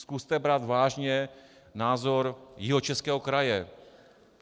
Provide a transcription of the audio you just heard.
Zkuste brát vážně názor Jihočeského kraje.